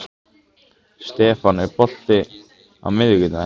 Stefán, er bolti á miðvikudaginn?